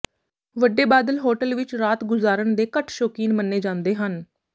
ਵੱਡੇ ਬਾਦਲ ਹੋਟਲ ਵਿਚ ਰਾਤ ਗੁਜ਼ਾਰਨ ਦੇ ਘੱਟ ਸ਼ੌਕੀਨ ਮੰਨੇ ਜਾਂਦੇ ਹਨ